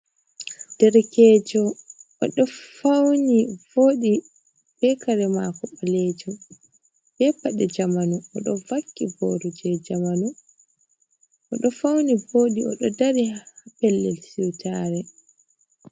Ɗarekejo odo fauni vodi be kare mako balejum, be pade jamanu oɗo vakki boro je jamanu, odo fauni vodi. Odo dari ha pellel siutare.